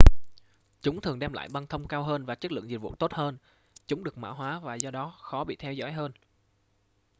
chúng thường đem lại băng thông cao hơn và chất lượng dịch vụ tốt hơn chúng được mã hoá và do đó khó bị theo dõi hơn